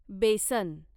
बेसन